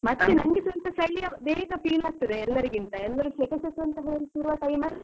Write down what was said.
ಮತ್ತೆ ನಂಗೆ ಸ್ವಲ್ಪ ಚಳಿ ಬೇಗ feel ಆಗ್ತದೆ ಎಲ್ಲರಿಗಿಂತ ಎಲ್ಲರೂ ಸೆಕೆ ಶಕೆ ಅಂತ ಹೇಳ್ತಿರುವ time ಅಲ್ಲಿ.